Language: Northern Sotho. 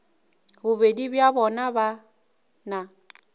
bobedi bja bona ba na